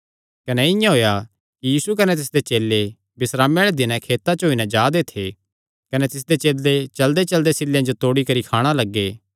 कने इआं होएया कि यीशु कने तिसदे चेले बिस्रामे आल़े दिनैं खेतां च होई नैं जा दे थे कने तिसदे चेले चलदेचलदे सिल्लेयां जो खाणे तांई तोड़णा लग्गे